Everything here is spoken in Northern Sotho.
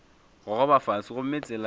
gogoba fase gomme tsela ya